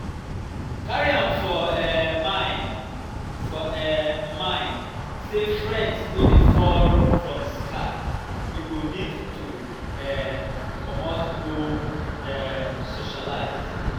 carry am for um mind for um mind sey friends no dey fall from sky you go need to um comot go um socialize